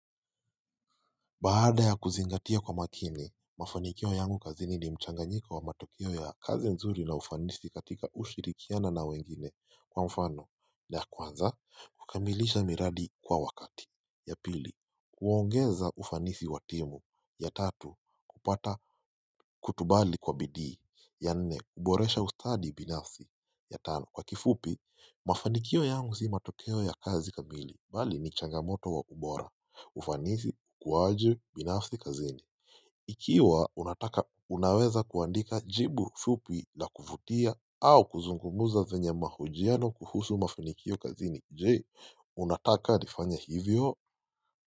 Baada ya kuzingatia kwa makini, mafanikio yangu kazi ni mchanganyiko wa matokeo ya kazi nzuri na ufanisi katika ushirikiana na wengine kwa mfano na kwanza, kukamilisha miradi kwa wakati, ya pili, kuwaongeza ufanisi watimu, ya tatu, kupata Kutubali kwa bidhii. Ya nne, kuboresha ustadi binafsi. Ya tano, kwa kifupi, mafanikio yangu si matokeo ya kazi kamili bali ni changamoto wa ubora. Ufanisi, kuwa aje, binafsi kazini. Ikiwa unataka unaweza kuandika jibu fupi la kuvutia au kuzungumuza kwenye mahojiano kuhusu mafinikio kazini. Je, unataka nifanye hivyo.